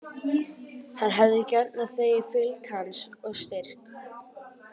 Hann hefði gjarnan þegið fylgd hans og styrk.